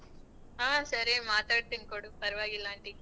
ಹ ಸರಿ ಮಾತಾಡ್ತೀನಿ ಕೊಡು ಪರ್ವಾಗಿಲ್ಲ .